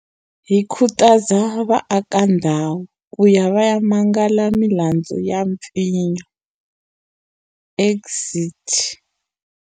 Hi khutaza vaakandhawu ku ya va ya mangala milandzu ya mpfinyo exit.